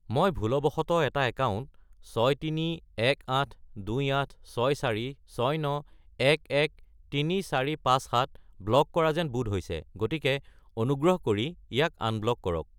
মই ভুলবশতঃ এটা একাউণ্ট 6318286469113457 ব্লক কৰা যেন বোধ হৈছে, গতিকে অনুগ্ৰহ কৰি ইয়াক আনব্লক কৰক।